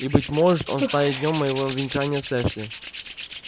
и быть может он станет днём моего венчания с эшли